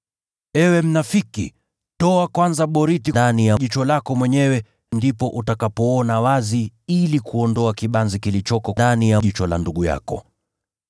Ewe mnafiki, ondoa boriti ndani ya jicho lako kwanza, ndipo utaweza kuona dhahiri jinsi ya kuondoa kibanzi kilicho ndani ya jicho la ndugu yako.